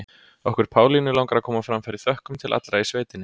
Okkur Pálínu langar að koma á framfæri þökkum til allra í sveitinni.